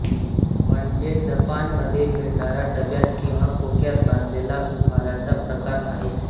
म्हणजे जपान मधे मिळणारा डब्यात किंवा खोक्यात बांधलेला उपहाराचा प्रकार आहे